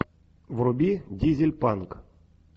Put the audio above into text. вруби дизель панк